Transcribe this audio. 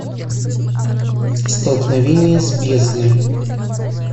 столкновение с бездной